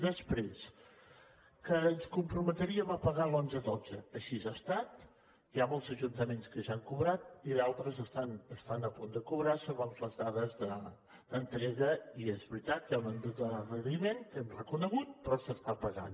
després que ens comprometríem a pagar el dos mil onze dos mil dotze així ha estat hi ha molts ajuntaments que ja han cobrat i d’altres estan a punt de cobrar segons les dades d’entrega i és veritat que hi ha un endarreriment que hem reconegut però s’està pagant